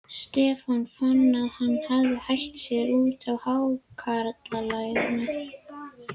Stefán fann að hann hafði hætt sér út á hákarlamið.